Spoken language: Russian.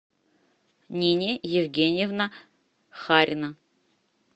нини евгеньевна харина